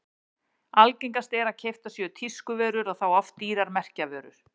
Algengast er að keyptar séu tískuvörur og þá oft dýrar merkjavörur.